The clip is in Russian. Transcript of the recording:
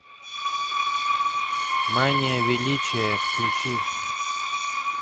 мания величия включи